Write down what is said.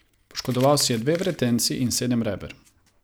Poškodoval si je dve vretenci in sedem reber.